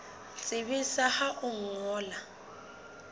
tsebisa ka ho o ngolla